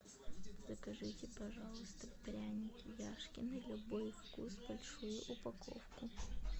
закажите пожалуйста пряники яшкино любой вкус большую упаковку